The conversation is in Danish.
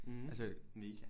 Mh mega